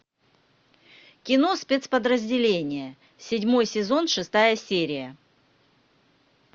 кино спецподразделение седьмой сезон шестая серия